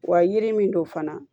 Wa yiri min don fana